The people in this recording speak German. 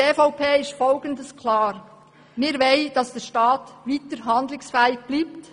Die EVP will, dass der Staat weiterhin handlungsfähig bleibt.